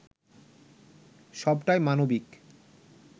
সবটাই মানবিক